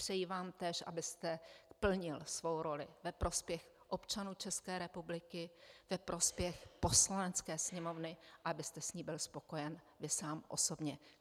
Přeji vám též, abyste plnil svou roli ve prospěch občanů České republiky, ve prospěch Poslanecké sněmovny a abyste s ní byl spokojen vy sám osobně.